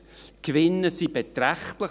Die Reisezeitgewinne sind beträchtlich: